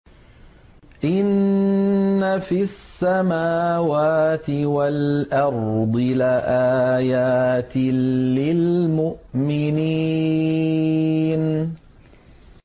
إِنَّ فِي السَّمَاوَاتِ وَالْأَرْضِ لَآيَاتٍ لِّلْمُؤْمِنِينَ